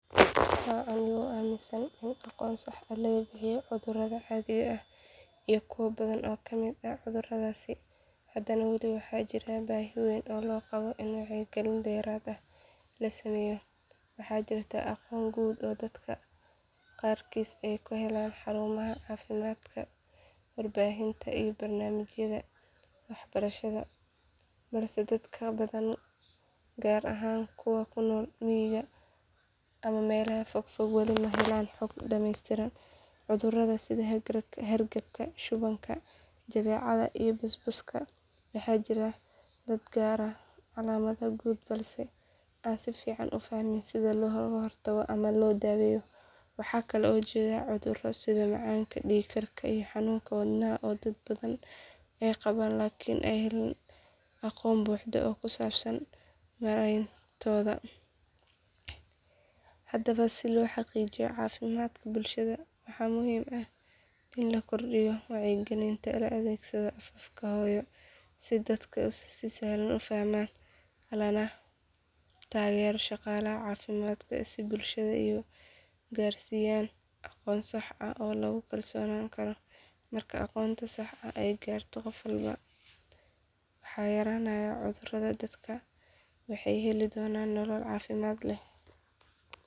Haa aniga oo aaminsan in aqoon sax ah laga bixiyay cudurrada caadiga ah iyo kuwo badan oo ka mid ah cudurradaas, haddana wali waxaa jira baahi weyn oo loo qabo in wacyigelin dheeraad ah la sameeyo. Waxaa jirta aqoon guud oo dadka qaarkiis ay ka helaan xarumaha caafimaadka, warbaahinta iyo barnaamijyada waxbarasho balse dad badan gaar ahaan kuwa ku nool miyiga ama meelaha fog fog wali ma helaan xog dhamaystiran. Cudurrada sida hargabka, shubanka, jadeecada iyo busbuska waxaa jira dad garanaya calaamadaha guud balse aan si fiican u fahmin sida loo hortago ama loo daweeyo. Waxaa kaloo jira cudurro sida macaanka, dhiig karka iyo xanuunka wadnaha oo dad badan ay qabaan laakiin aan helin aqoon buuxda oo ku saabsan maarayntooda. Haddaba si loo xaqiijiyo caafimaadka bulshada waxaa muhiim ah in la kordhiyo wacyigelinta, la adeegsado afafka hooyo si dadka si sahlan u fahmaan, lana taageero shaqaalaha caafimaadka si ay bulshada u gaarsiiyaan aqoon sax ah oo lagu kalsoonaan karo. Marka aqoonta saxda ah ay gaarto qof walba waxaa yaraanaya cudurrada, dadkuna waxay heli doonaan nolol caafimaad leh.